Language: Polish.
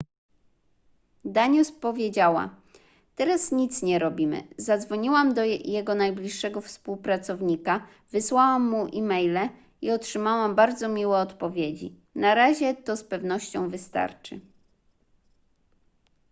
danius powiedziała teraz nic nie robimy zadzwoniłam do jego najbliższego współpracownika wysłałam mu e-maile i otrzymałam bardzo miłe odpowiedzi na razie to z pewnością wystarczy